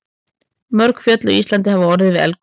Mörg fjöll á Íslandi hafa orðið til við eldgos.